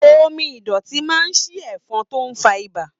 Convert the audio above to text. Omí idọti máa n sìn ẹfọn tó n fà ibà.